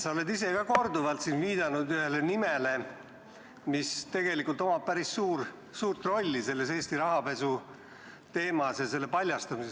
Sa oled ka ise siin korduvalt viidanud ühele nimele, mis tegelikult omab päris suurt rolli selles Eesti rahapesu teemas ja selle paljastamises.